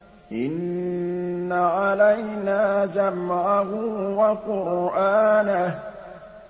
إِنَّ عَلَيْنَا جَمْعَهُ وَقُرْآنَهُ